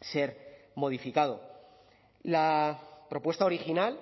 ser modificado la propuesta original